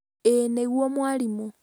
ĩĩ nĩguo mwarimũ